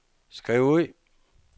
skriv ud